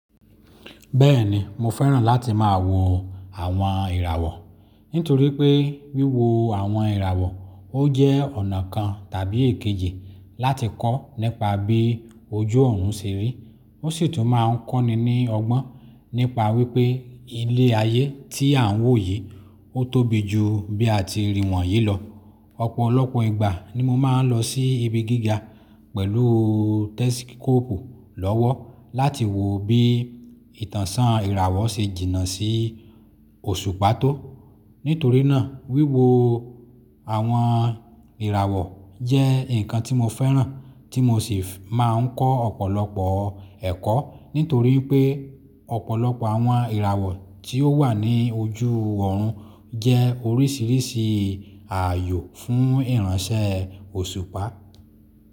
Bẹ́ẹ̀ni mo fẹ́ràn láti máa wo àwọn ìràwọ̀, nítorí pé wíwo àwọn ìràwọ̀ ó jẹ́ ọ̀nà kan tàbí èkejì láti kọ́ nípa bí ojú òòrùn ṣe rí. Ó sì tún má a ń kọ́ni ní ọgbọ́n nípa wípé ilé ayé tí à ń wò yìí ó tóbi jù bí a ti rí wọ̀nyí lọ. Ọ̀pọ̀lọpọ̀ ìgbà ni mo má a ń lọ sí ibi gíga pẹ̀lú tẹsikọ́ọ̀pù lọ́wọ́ láti wo bí ìtànṣán ìràwọ̀ ṣe jìnnà sí òṣùpá tó. Nítorí náà wíwo àwọn ìràwọ̀ jẹ́ nǹkan tí mo fẹ́ràn tí mo sì máa ń kọ́ ọ̀pọ̀lọpọ̀ ẹ̀kọ́. Nítorí pé ọ̀pọ̀lọpọ̀ àwọn ìràwọ̀ tí ó wà ní ojú òòrùn jẹ́ oríṣìíríṣìí àyò fún ìránṣẹ́ òṣùpá.